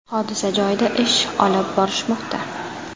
Hodisa joyida ish olib borishmoqda.